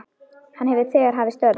Hann hefur þegar hafið störf.